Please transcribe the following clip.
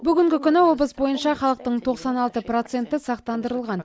бүгінгі күні облыс бойынша халықтың тоқсан алты проценті сақтандырылған